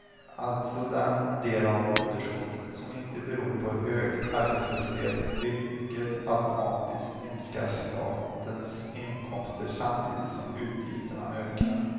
Alltså den del av underskottet som inte beror på hög arbetslöshet, vilket automatiskt minskar statens inkomster samtidigt som utgifterna ökar.